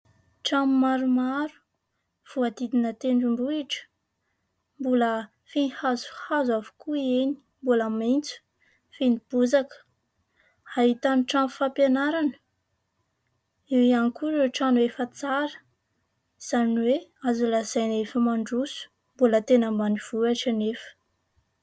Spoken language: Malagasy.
Trano maromaro voadidina tendrombohitra, mbola feno hazohazo avokoa eny, mbola maintso feno bozaka, ahitany trano fampianarana, eo ihany koa ireo trano efa tsara izany hoe azo lazaina efa mandroso ; mbola tena ambanivohitra anefa.